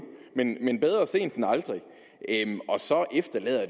men bedre sent end aldrig og så efterlader